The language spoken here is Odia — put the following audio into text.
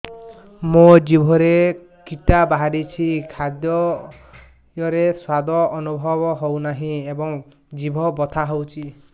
ମୋ ଜିଭରେ କିଟା ବାହାରିଛି ଖାଦ୍ଯୟରେ ସ୍ୱାଦ ଅନୁଭବ ହଉନାହିଁ ଏବଂ ଜିଭ ବଥା ହଉଛି